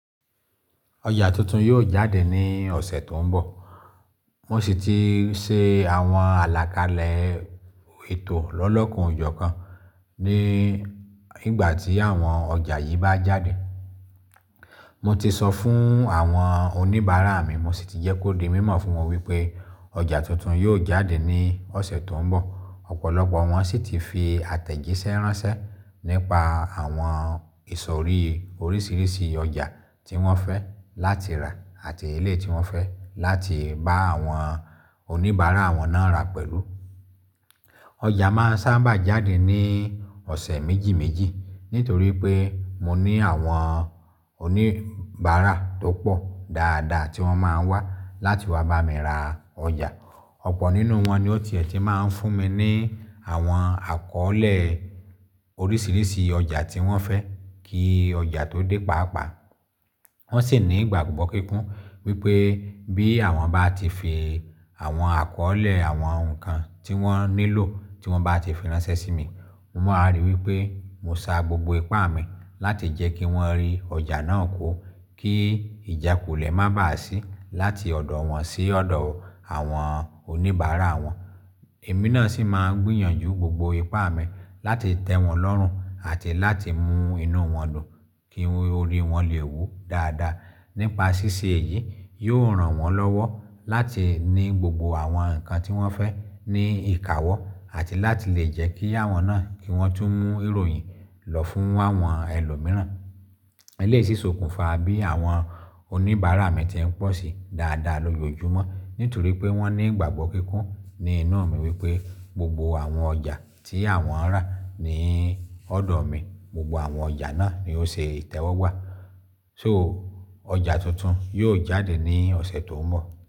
Ọjà tuntun yóò jáde ní ọ̀sẹ̀ tó ń bọ̀. Wọ́n sì ti ṣe àwọn àlàkalẹ̀ ètò lọ́lọ́kan-ò-jọ̀-kan ní ìgbà tí àwọn ọjà yìí bá jáde. Mo ti sọ fún àwọn oníbàárà mi, mo sì ti jẹ́ kó di mímọ̀ fún wọn wípé ọjà tuntun yóò jáde ní ọ̀sẹ̀ tó ń bọ̀. Ọ̀pọ̀lọpọ̀ wọn sì ti fi àtẹ̀jíṣẹ́ ránṣẹ́ nípa àwọn ìsọ̀rí oríṣiríṣi ọjà tí wọ́n fẹ́ láti rà àti eléyìí tí wọ́n fẹ́ láti bá àwọn oníbàárà wọn náà rà pẹ̀lú. Ọjà máa ń sábà jáde ní ọ̀sẹ̀ méjì méjì nítorí pé mo ní àwọn oníbàárà tó pọ̀ dáadáa tí wọ́n máa ń wá láti wá bá mi ra ọjà. Ọ̀pọ̀ nínú wọn ni ó tiẹ̀ tí máa ń fún mi ní àwọn àkọ́ọ́lẹ̀ oríṣiríṣi ọjà tí wọ́n fẹ́ kí ọjà tó dé pàápàá. Wọ́n sì ní ìgbàgbọ́ kíkún wípé bí àwọn bá ti fi àwọn àkọ́ọ́lẹ̀ àwọn nǹkan tí wọ́n nílò tí wọ́n bá ti fi ránṣẹ́ sí mi, mo máa rí wípé mo sa gbogbo ipá mi láti jẹ́ kí wọ́n rí ọjà náà kó kí ìjákulẹ̀ má bà á sí láti ọ̀dọ̀ wọn sí ọ̀dọ̀ àwọn oníbàárà wọn. Èmi náà sì máa ń gbìyànjú gbogbo ipá mi láti tẹ́ wọn lọ́rùn àti láti mú inú wọn dùn kí orí wọn lè wú dáadáa. Nípa ṣíṣe èyí, yóò ràn wọ́n lọ́wọ́ láti ní gbogbo àwọn nǹkan tí wọ́n fẹ́ ní ìkáwọ́ àti láti lè jẹ́ kí àwọn náà kí wọ́n tún mú ìròyìn lọ fún àwọn ẹlòmíràn. Eléyìí sì sokùnfa bí àwọn oníbàárà mi ti ń pọ̀ sí dáadáa lójoojúmọ́ nítorí pé wọ́n ní ìgbàgbọ́ kíkún ní inú mi wípé gbogbo àwọn ọjà tí àwọn rà ní ọ̀dọ̀ mi, gbogbo àwọn ọjà náà ni ó ṣe ìtẹ́wọ́gbà. So ọjà tuntun yóò jáde ní ọ̀sẹ̀ tó ń bọ̀.